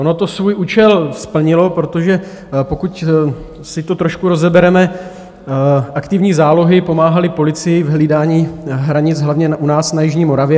Ono to svůj účel splnilo, protože pokud si to trošku rozebereme, aktivní zálohy pomáhaly policii v hlídání hranic hlavně u nás na jižní Moravě.